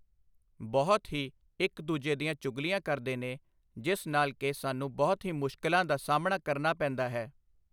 ਬਹੁਤ ਹੀ ਇੱਕ ਦੂਜੇ ਦੀਆਂ ਚੁਗਲੀਆਂ ਕਰਦੇ ਨੇ ਜਿਸ ਨਾਲ਼ ਕਿ ਸਾਨੂੰ ਬਹੁਤ ਹੀ ਮੁਸ਼ਕਿਲਾਂ ਦਾ ਸਾਹਮਣਾ ਕਰਨਾ ਪੈਂਦਾ ਹੈ।